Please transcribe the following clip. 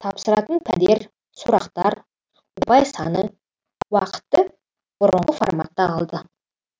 тапсыратын пәндер сұрақтар ұпай саны уақыты бұрынғы форматта қалды